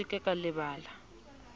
se ke la ba la